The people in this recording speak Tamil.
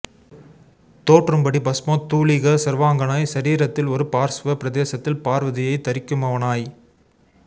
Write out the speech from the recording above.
தோற்றும்படி பஸ்மோத் தூளிக சர்வாங்கனாய் சரீரத்தில் ஒரு பார்ஸ்வ பிரதேசத்தில் பார்வதியைத் தரிக்குமவனாய்